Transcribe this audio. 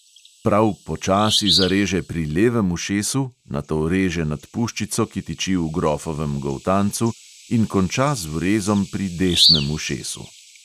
Prav počasi zareže pri levem ušesu, nato reže nad puščico, ki tiči v grofovem goltancu, in konča z vrezom pri desnem ušesu.